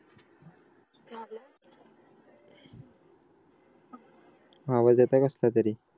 आवाज येत आहे कसलं तरी